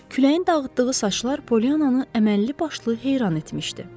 Küləyin dağıtdığı saçlar Polyannanı əməlli başlı heyran etmişdi.